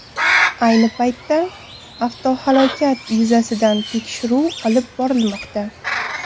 Ayni paytda avtohalokat yuzasidan tekshiruv olib borilmoqda.